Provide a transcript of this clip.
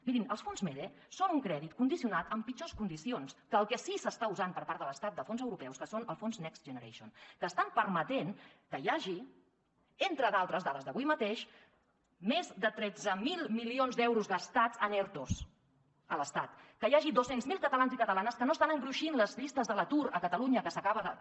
mirin els fons mede són un crèdit condicionat amb pitjors condicions que el que sí que s’està usant per part de l’estat de fons europeus que són els fons next generation que estan permetent que hi hagi entre d’altres dades d’avui mateix més de tretze mil milions d’euros gastats en ertos a l’estat que hi hagi dos cents miler catalans i catalanes que no estan engruixint les llistes de l’atur a catalunya que s’acaba de